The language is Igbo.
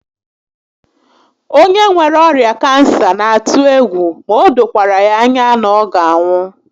Onye nwere ọrịa kansa n'atụ egwu ma o dokwara ya anya na ọ ga anwụ